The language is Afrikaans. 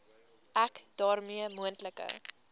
ek daarmee moontlike